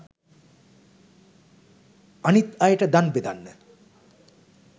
අනිත් අයට දන් බෙදන්න